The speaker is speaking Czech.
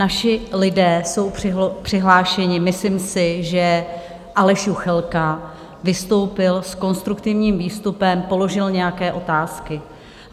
Naši lidé jsou přihlášeni, myslím si, že Aleš Juchelka vystoupil s konstruktivním výstupem, položil nějaké otázky.